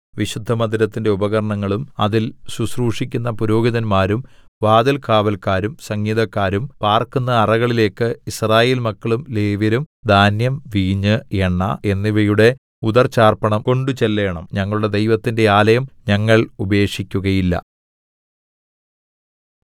വിശുദ്ധമന്ദിരത്തിന്റെ ഉപകരണങ്ങളും അതിൽ ശുശ്രൂഷിക്കുന്ന പുരോഹിതന്മാരും വാതിൽകാവല്ക്കാരും സംഗീതക്കാരും പാർക്കുന്ന അറകളിലേക്ക് യിസ്രായേൽമക്കളും ലേവ്യരും ധാന്യം വീഞ്ഞ് എണ്ണ എന്നിവയുടെ ഉദർച്ചാർപ്പണം കൊണ്ടുചെല്ലേണം ഞങ്ങളുടെ ദൈവത്തിന്റെ ആലയം ഞങ്ങൾ ഉപേക്ഷിക്കുകയില്ല